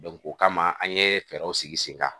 o kama an ye fɛɛrɛw sigi sen kan